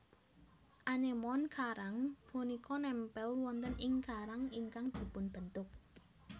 Anémon karang punika nempel wonten ing karang ingkang dipunbentuk